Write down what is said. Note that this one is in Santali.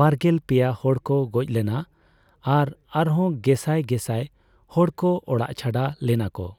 ᱵᱟᱨᱜᱮᱞ ᱯᱮᱭᱟ ᱦᱚᱲᱠᱚ ᱜᱚᱡᱽ ᱞᱮᱱᱟ ᱟᱨ ᱟᱨᱦᱚᱸ ᱜᱮᱥᱟᱭ ᱜᱮᱥᱟᱭ ᱦᱚᱲᱠᱚ ᱚᱲᱟᱜ ᱪᱷᱟᱰᱟ ᱞᱮᱱᱟᱠᱚ ᱾